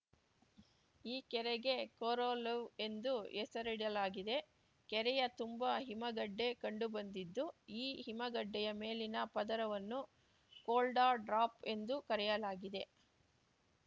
ಈ ಕೆರೆಗೆ ಕೊರೊಲೆವ್‌ ಎಂದು ಹೆಸರಿಡಲಾಗಿದೆ ಕೆರೆಯ ತುಂಬ ಹಿಮಗಡ್ಡೆ ಕಂಡುಬಂದಿದ್ದು ಈ ಹಿಮಗಡ್ಡೆಯ ಮೇಲಿನ ಪದರವನ್ನು ಕೋಲ್ಡ ಡ್ರಾಪ್‌ ಎಂದು ಕರೆಯಲಾಗಿದೆ